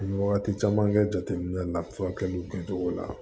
N ye wagati caman kɛ jateminɛ la furakɛliw kɛcogo la